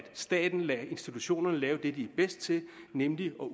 staten lader institutionerne lave det som de er bedst til nemlig at